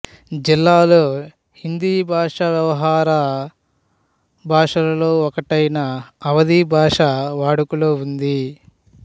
జిల్లాలో హిందీ భషా వ్యవహార భాషలలో ఒకటైన అవధి భాష వాడుకలో ఉంది